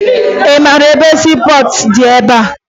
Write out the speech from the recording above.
Ị mara ebe siipọọtụ dị ebea?